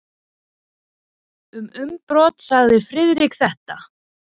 Um innbrot sagði Friðrik þetta: